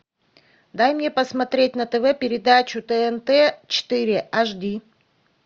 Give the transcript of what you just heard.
дай мне посмотреть на тв передачу тнт четыре аш ди